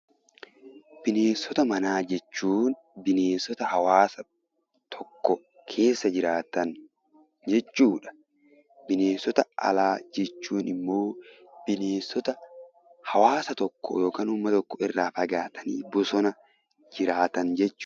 Bineensota manaa jechuun bineensota haawwasa tokko keessa jiraatan jechuudha. Bineensota alaa jechuun immoo bineensota hawwaasa tokko yookaan uummata tokko irraa fagaatanii bosona keessa jiraatan jechuudha.